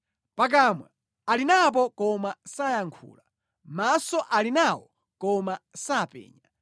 Pakamwa ali napo koma sayankhula maso ali nawo, koma sapenya;